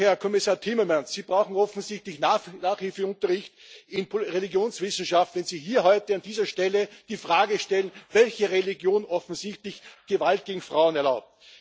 Herr Kommissar Timmermans, Sie brauchen offensichtlich Nachhilfeunterricht in Religionswissenschaft, wenn Sie hier heute an dieser Stelle die Frage stellen, welche Religion offensichtlich Gewalt gegen Frauen erlaubt.